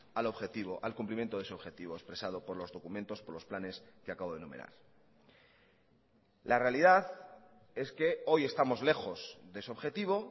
al objetivo al cumplimiento de ese objetivo expresado por los documentos por los planes que acabo de enumerar la realidad es que hoy estamos lejos de ese objetivo